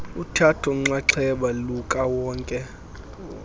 uthatho nxaxheba lukawonke